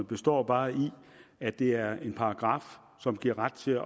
består bare i at det er en paragraf som giver ret til at